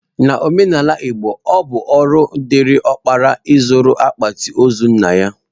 N'omenala Igbo, ọ bụ ọrụ dịịrị ọkpara ịzụrụ akpati ozu nna ya.